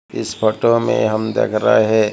इस फोटो में हम देख रहे हैं।